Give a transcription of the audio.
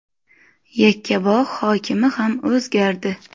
Yakkabog‘ hokimi ham o‘zgardi.